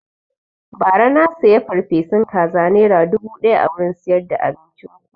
Ba ra na siya farfesun kaza nera dubu ɗaya a wurin siyar da abincin ku